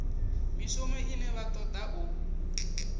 mishumo ine vha toda u